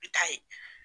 I bi taa ye